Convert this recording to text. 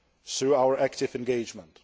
through our active engagement.